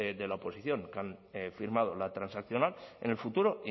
de la oposición que han firmado la transaccional en el futuro